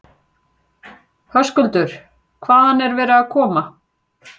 Höskuldur: Hvaðan er verið að koma?